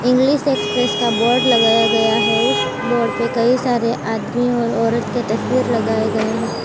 English Express का board लगाया गया है उस बोर्ड पे कई सारे आदमी और औरत के तस्वीर लगाए गए हैं।